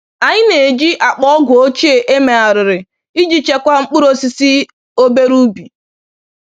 Anyị na-eji akpa ọgwụ ochie emegharịrị iji chekwaa mkpụrụ osisi obere ubi